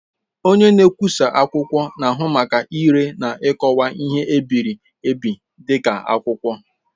Onye nkwụsa akwụkwọ na-ahụ maka ire na ikọwa ihe e biri ebi dị ka akwụkwọ.